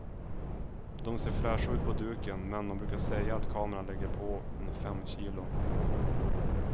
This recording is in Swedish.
De ser fräscha ut på duken, men man brukar säga att kameran lägger på en fem kilo.